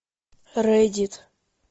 реддит